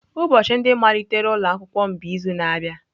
Ụbọchị ndị malitere ụlọ akwụkwọ m bụ izu na-abịa.